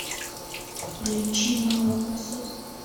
включи молокососы